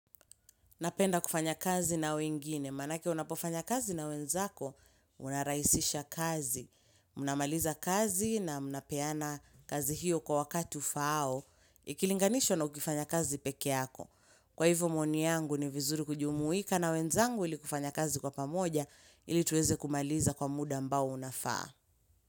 Napenda kufanya kazi na wengine, manake unapofanya kazi na wenzako, unarahisisha kazi. Unamaliza kazi na mnapeana kazi hiyo kwa wakati ufaao, ikilinganisho na ukifanya kazi peke yako. Kwa hivyo maoni yangu ni vizuri kujumuika na wenzangu ili kufanya kazi kwa pamoja ili tuweze kumaliza kwa muda ambao unafaa.